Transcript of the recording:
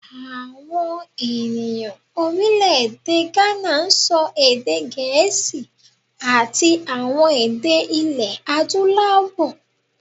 Àwọn ènìyàn Orílèdè Gánà n sọ èdè gèésì àti àwọn èdè ilé adúláwò